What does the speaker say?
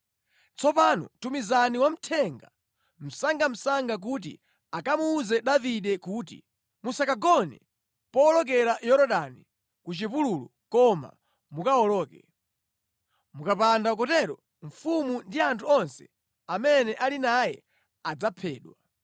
Tsopano tumizani wamthenga msangamsanga kuti akamuwuze Davide kuti, ‘Musakagone powolokera Yorodani ku chipululu koma mukawoloke. Mukapanda kutero, mfumu ndi anthu onse amene ali naye adzaphedwa.’ ”